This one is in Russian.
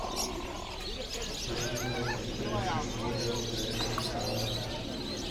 внимание трэш история трэш металла